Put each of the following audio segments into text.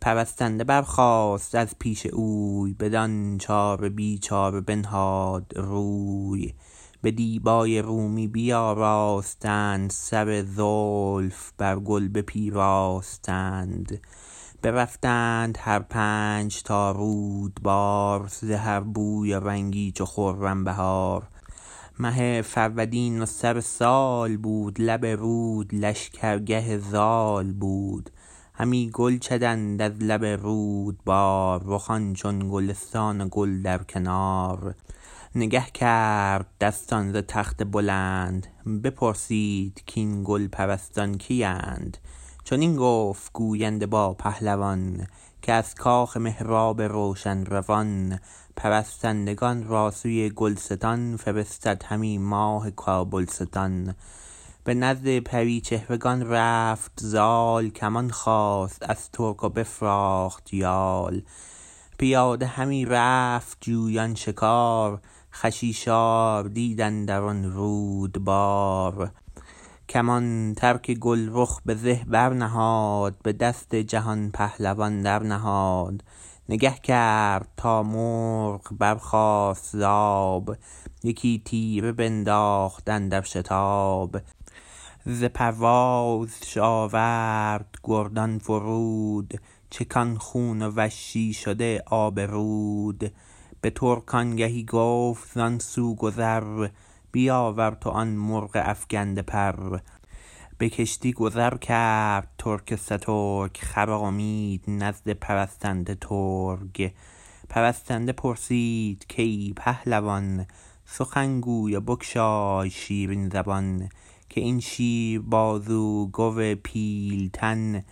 پرستنده برخاست از پیش اوی بدان چاره بی چاره بنهاد روی به دیبای رومی بیاراستند سر زلف برگل بپیراستند برفتند هر پنج تا رودبار ز هر بوی و رنگی چو خرم بهار مه فرودین وسر سال بود لب رود لشکرگه زال بود همی گل چدند از لب رودبار رخان چون گلستان و گل در کنار نگه کرد دستان ز تخت بلند بپرسید کاین گل پرستان کی ند چنین گفت گوینده با پهلوان که از کاخ مهراب روشن روان پرستندگان را سوی گلستان فرستد همی ماه کابلستان به نزد پری چهرگان رفت زال کمان خواست از ترک و بفراخت یال پیاده همی رفت جویان شکار خشیشار دید اندر آن رودبار کمان ترک گلرخ به زه بر نهاد به دست جهان پهلوان در نهاد نگه کرد تا مرغ برخاست ز آب یکی تیره بنداخت اندر شتاب ز پروازش آورد گردان فرود چکان خون و وشی شده آب رود بترک آنگهی گفت زان سو گذر بیاور تو آن مرغ افگنده پر به کشتی گذر کرد ترک سترگ خرامید نزد پرستنده ترک پرستنده پرسید کای پهلوان سخن گوی و بگشای شیرین زبان که این شیر بازو گو پیلتن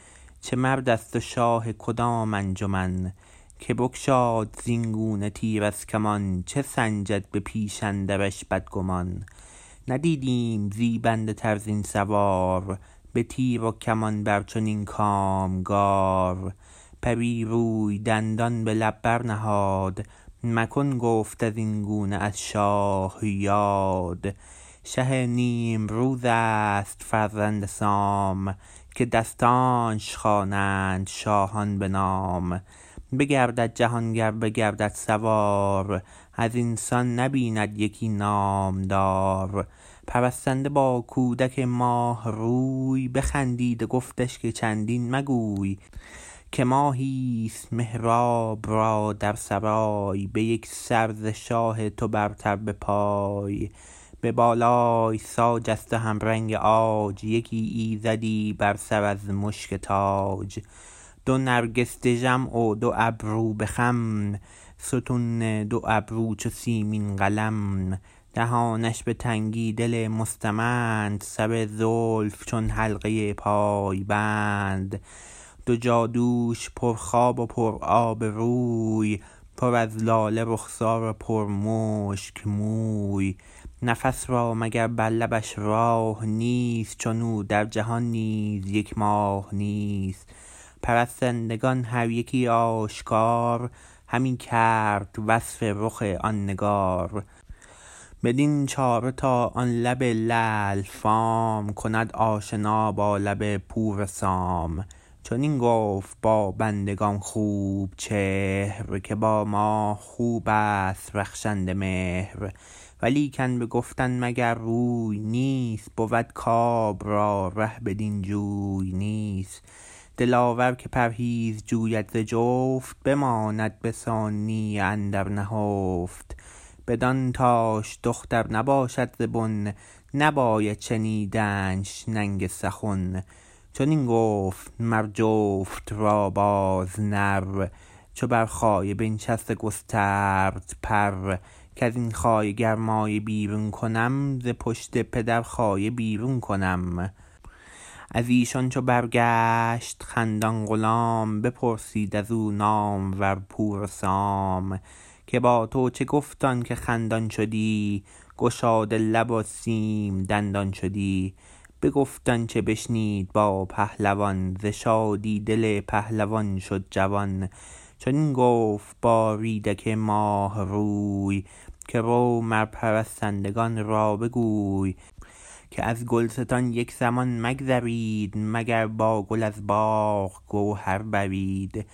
چه مردست و شاه کدام انجمن که بگشاد زین گونه تیر از کمان چه سنجد به پیش اندرش بدگمان ندیدیم زیبنده تر زین سوار به تیر و کمان بر چنین کامگار پری روی دندان به لب برنهاد مکن گفت ازین گونه از شاه یاد شه نیمروزست فرزند سام که دستانش خوانند شاهان به نام بگرد جهان گر بگردد سوار ازین سان نبیند یکی نامدار پرستنده با کودک ماه روی بخندید و گفتش که چندین مگوی که ماهیست مهراب را در سرای به یک سر ز شاه تو برتر بپای به بالای ساج است و همرنگ عاج یکی ایزدی بر سر از مشک تاج دو نرگس دژم و دو ابرو به خم ستون دو ابرو چو سیمین قلم دهانش به تنگی دل مستمند سر زلف چون حلقه پای بند دو جادوش پر خواب و پرآب روی پر از لاله رخسار و پر مشک موی نفس را مگر بر لبش راه نیست چنو در جهان نیز یک ماه نیست پرستندگان هر یکی آشکار همی کرد وصف رخ آن نگار بدین چاره تا آن لب لعل فام کند آشنا با لب پور سام چنین گفت با بندگان خوب چهر که با ماه خوبست رخشنده مهر ولیکن به گفتن مگر روی نیست بود کاب را ره بدین جوی نیست دلاور که پرهیز جوید ز جفت بماند به آسانی اندر نهفت بدان تاش دختر نباشد ز بن نباید شنیدنش ننگ سخن چنین گفت مر جفت را باز نر چو بر خایه بنشست و گسترد پر کزین خایه گر مایه بیرون کنم ز پشت پدر خایه بیرون کنم ازیشان چو برگشت خندان غلام بپرسید از و نامور پور سام که با تو چه گفت آن که خندان شدی گشاده لب و سیم دندان شدی بگفت آنچه بشنید با پهلوان ز شادی دل پهلوان شد جوان چنین گفت با ریدک ماه روی که رو مر پرستندگان را بگوی که از گلستان یک زمان مگذرید مگر با گل از باغ گوهر برید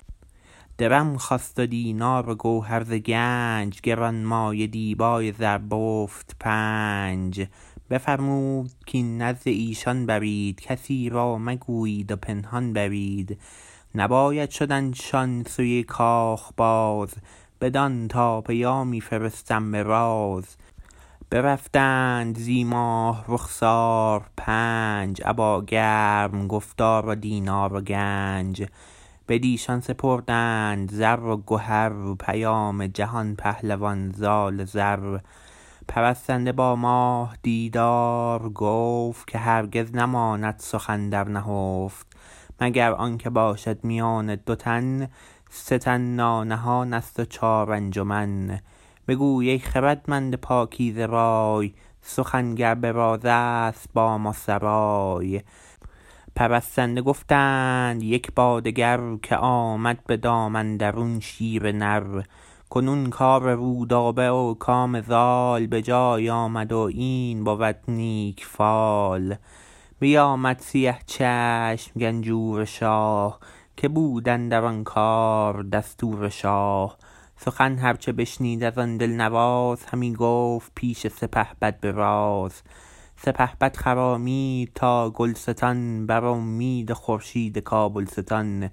درم خواست و دینار و گوهر ز گنج گرانمایه دیبای زربفت پنج بفرمود کاین نزد ایشان برید کسی را مگویید و پنهان برید نباید شدن شان سوی کاخ باز بدان تا پیامی فرستم براز برفتند زی ماه رخسار پنج ابا گرم گفتار و دینار و گنج بدیشان سپردند زر و گهر پیام جهان پهلوان زال زر پرستنده با ماه دیدار گفت که هرگز نماند سخن در نهفت مگر آنکه باشد میان دو تن سه تن نانهانست و چار انجمن بگوی ای خردمند پاکیزه رای سخن گر به رازست با ما سرای پرستنده گفتند یک با دگر که آمد به دام اندرون شیر نر کنون کار رودابه و کام زال به جای آمد و این بود نیک فال بیامد سیه چشم گنجور شاه که بود اندر آن کار دستور شاه سخن هر چه بشنید از آن دلنواز همی گفت پیش سپهبد به راز سپهبد خرامید تا گلستان بر امید خورشید کابلستان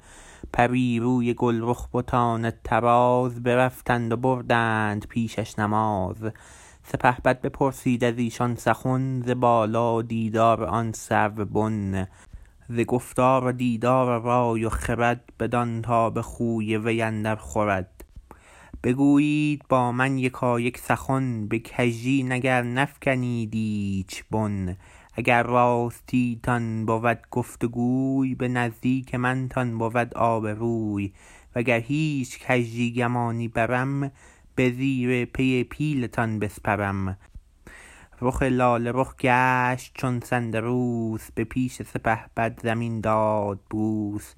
پری روی گلرخ بتان طراز برفتند و بردند پیشش نماز سپهبد بپرسید ازیشان سخن ز بالا و دیدار آن سرو بن ز گفتار و دیدار و رای و خرد بدان تا به خوی وی اندر خورد بگویید با من یکایک سخن به کژی نگر نفگنید ایچ بن اگر راستی تان بود گفت وگوی به نزدیک من تان بود آبروی وگر هیچ کژی گمانی برم به زیر پی پیلتان بسپرم رخ لاله رخ گشت چون سندروس به پیش سپهبد زمین داد بوس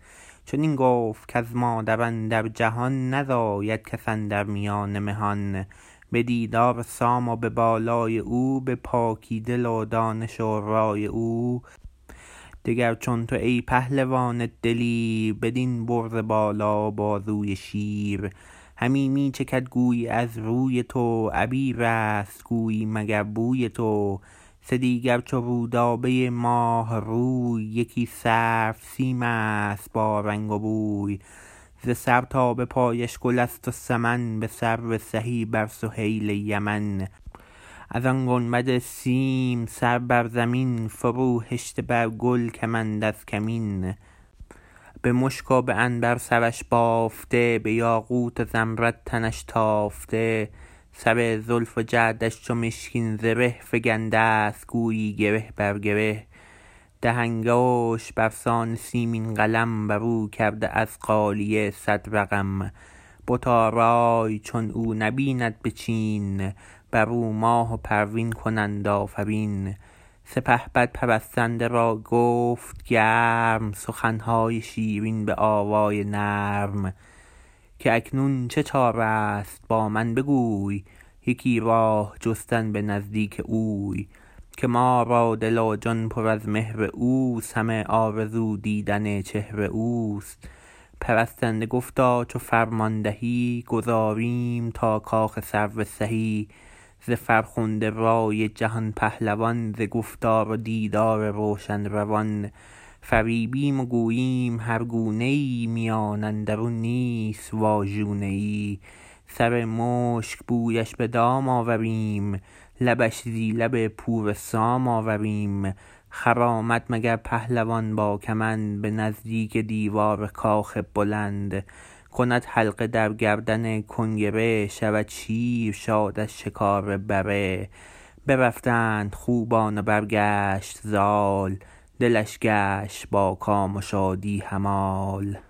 چنین گفت کز مادر اندر جهان نزاید کس اندر میان مهان به دیدار سام و به بالای او به پاکی دل و دانش و رای او دگر چون تو ای پهلوان دلیر بدین برز بالا و بازوی شیر همی می چکد گویی از روی تو عبیرست گویی مگر بوی تو سه دیگر چو رودابه ماه روی یکی سرو سیمست با رنگ و بوی ز سر تا به پایش گلست وسمن به سرو سهی بر سهیل یمن از آن گنبد سیم سر بر زمین فرو هشته بر گل کمند از کمین به مشک و به عنبر سرش بافته به یاقوت و زمرد تنش تافته سر زلف و جعدش چو مشکین زره فگندست گویی گره بر گره ده انگشت برسان سیمین قلم برو کرده از غالیه صدرقم بت آرای چون او نبیند بچین برو ماه و پروین کنند آفرین سپهبد پرستنده را گفت گرم سخنهای شیرین به آوای نرم که اکنون چه چارست با من بگوی یکی راه جستن به نزدیک اوی که ما را دل و جان پر از مهر اوست همه آرزو دیدن چهر اوست پرستنده گفتا چو فرمان دهی گذاریم تا کاخ سرو سهی ز فرخنده رای جهان پهلوان ز گفتار و دیدار روشن روان فریبیم و گوییم هر گونه ای میان اندرون نیست واژونه ای سرمشک بویش به دام آوریم لبش زی لب پور سام آوریم خرامد مگر پهلوان با کمند به نزدیک دیوار کاخ بلند کند حلقه در گردن کنگره شود شیر شاد از شکار بره برفتند خوبان و برگشت زال دلش گشت با کام و شادی همال